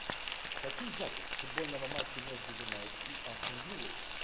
хотим запись футбольного матча между юнайтед и астон виллой